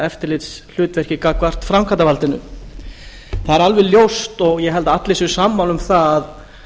eftirlitshlutverki gagnvart framkvæmdarvaldinu það er alveg ljóst og ég held að allir séu sammála um það að